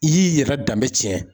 I y'i yɛrɛ danbe tiɲɛ